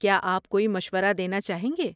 کیا آپ کوئی مشورہ دینا چاہیں گے؟